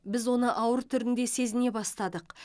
біз оны ауыр түрінде сезіне бастадық